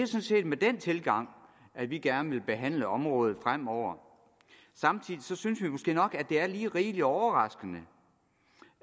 set med den tilgang at vi gerne vil behandle området fremover samtidig synes jeg måske nok at det er lige rigelig overraskende